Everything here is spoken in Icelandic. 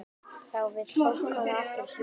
Þá vill fólk koma aftur.